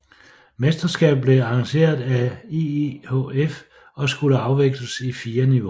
Mesterskabet blev arrangeret af IIHF og skulle afvikles i fire niveauer